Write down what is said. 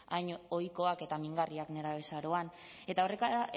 hain ohikoak eta mingarriak nerabezaroan eta